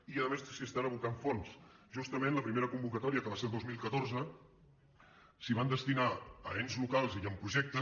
i a més s’hi estan abocant fons justament la primera convocatòria que va ser el dos mil catorze s’hi van destinar a ens locals i amb projectes